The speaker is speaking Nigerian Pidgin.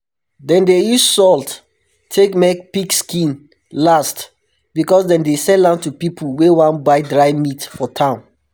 dem dey use salt take make pig skin last because dem dey sell am to pipu wey wan buy dry meat for town